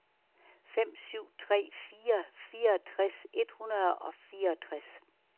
fem syv tre fire fireogtres et hundrede og fireogtres